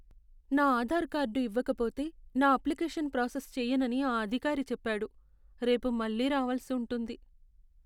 నా ఆధార్ కార్డు ఇవ్వకపోతే, నా అప్లికేషన్ ప్రాసెస్ చేయనని ఆ అధికారి చెప్పాడు. రేపు మళ్ళీ రావలసి ఉంటుంది.